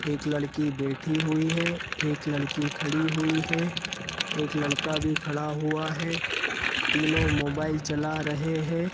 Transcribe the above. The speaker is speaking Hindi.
एक लड़की बैठी हुई है एक लड़की खड़ी हुई है एक लड़का भी खड़ा हुआ है तीनों मोबाइल चला रहे हैं।